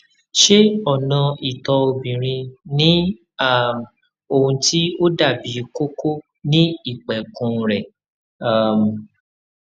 ṣé ọnà ìtọ obìnrin ní um ohun tí ó dàbí kókó ní ìpẹkun rẹ um